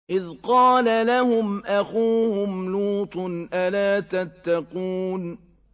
إِذْ قَالَ لَهُمْ أَخُوهُمْ لُوطٌ أَلَا تَتَّقُونَ